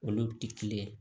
Olu tɛ kelen ye